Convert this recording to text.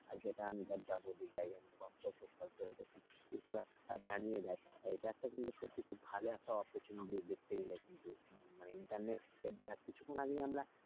আর যেটা আমি ধর যাব গন্তব্যস্থল সেটা ওর জানিয়ে দেয় এটা একটা কিন্তু সত্যি খুব ভালো একটা opportunity দেখতে গেলে কিন্তু মানে internet কিছুক্ষণ আগেই আমরা,